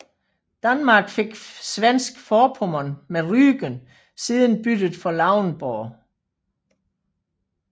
Danmark fik Svensk Forpommern med Rügen siden byttet for Lauenburg